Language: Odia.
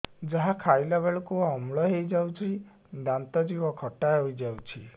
ଯାହା ଖାଇଲା ବେଳକୁ ଅମ୍ଳ ହେଇଯାଉଛି ଦାନ୍ତ ଜିଭ ଖଟା ହେଇଯାଉଛି